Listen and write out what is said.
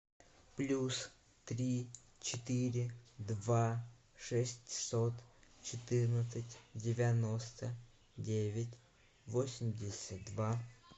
плюс три четыре два шестьсот четырнадцать девяносто девять восемьдесят два